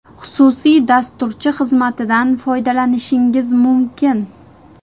Xususiy dasturchi xizmatidan foydalanishingiz mumkin.